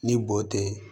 Ni bo tɛ